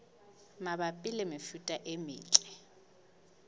mabapi le mefuta e metle